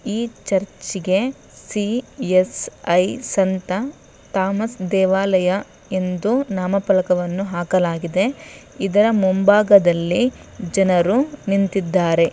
ಈ ಚರ್ಚೆಗೆ ಸಿ_ಎಸ್_ಐ ಸಂತ ಥಾಮಸ್ ದೇವಾಲಯ ಎಂದು ನಾಮಫಲಕವನ್ನು ಹಾಕಲಾಗಿದೆ. ಇದರ ಮುಂಭಾಗದಲ್ಲಿ ಜನರು ನಿಂತಿದ್ದಾರೆ.